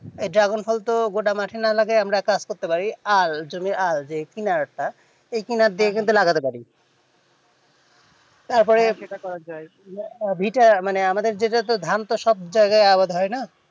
dragon ফল তো গোটা মাঠে না লাগিয়ে আমরা এক কাজ করতে পারি আল জমির আল যে কিনারা তা ওই কিনার দিকটা কিন্তু লাগাতে ওয়ারী তারপরে ভিটা মানে আমাদের যেত তোর ধান চাষ জায়গায় আবাদ হয়না